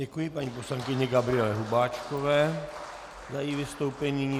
Děkuji paní poslankyni Gabriele Hubáčkové za její vystoupení.